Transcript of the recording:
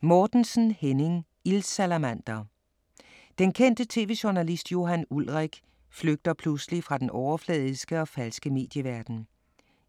Mortensen, Henning: Ildsalamander Den kendte tv-journalist Johan Ulrik flygter pludselig fra den overfladiske og falske medieverden.